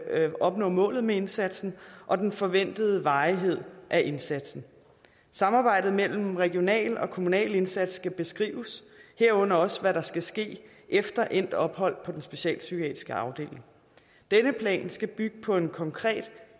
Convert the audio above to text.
at opnå målet med indsatsen og den forventede varighed af indsatsen samarbejdet mellem regional og kommunal indsats skal beskrives herunder også hvad der skal ske efter endt ophold på den specialpsykiatriske afdeling denne plan skal bygge på en konkret